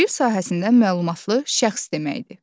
Dil sahəsindən məlumatlı şəxs deməkdir.